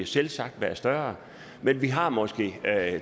selvsagt være større men vi har måske